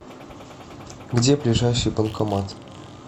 где ближайший банкомат